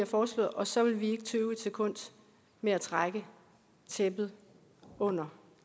foreslået og så vil vi ikke tøve et sekund med at trække tæppet under